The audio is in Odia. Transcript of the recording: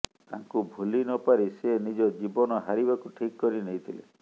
ତାଙ୍କୁ ଭୁଲି ନ ପାରି ସେ ନିଜ ଜୀବନ ହାରିବାକୁ ଠିକ୍ କରି ନେଇଥିଲେ